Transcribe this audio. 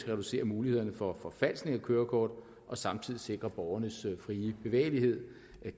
at reducere mulighederne for at forfalske kørekort og samtidig sikre borgernes frie bevægelighed